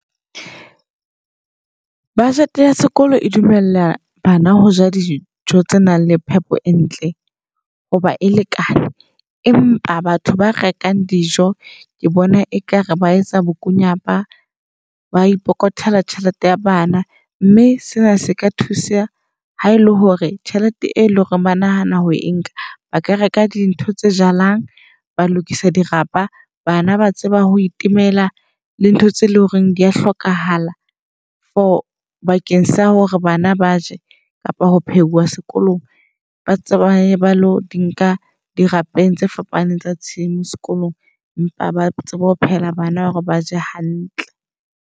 Budget ya sekolo e dumella bana ho ja dijo tse nang le phepo e ntle ho ba e lekane. Empa batho ba rekang dijo ke bona ekare ba etsa bokunyapa ba ipokothela tjhelete ya bana. Mme sena se ka thuseha ha ele hore tjhelete e leng hore ba nahana ho e nka ba ka reka dintho tse jalang ba lokisa di rapa. Bana ba tseba ho itemela le ntho tse loreng dia hlokahala for bakeng sa hore bana ba je kapa ho phehuwa sekolong. Ba tswe ba ye ba lo di nka dirapeng tse fapaneng tsa tshimo sekolong, empa ba tsebe ho phehela bana hore ba je hantle.